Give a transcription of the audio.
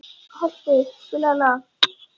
Holti, spilaðu lag.